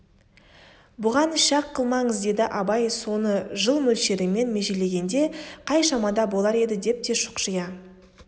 бұған шәк қылмаңыз деді абай соны жыл мөлшерімен межелегенде қай шамада болар еді деп те шұқшия